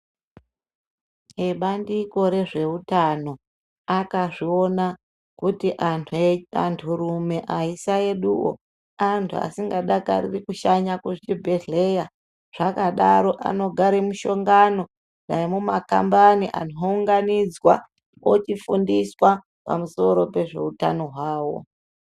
Ebandiko rezveutano akazviona kuti andu rume, aisaeduwo andu asikadakariri kushanya kuchibhedhleya zvakadaro anogara muhlongano nemumakambani, anhu ounganidzwa, ochifundiswa pamusoro pezveutano hwawo.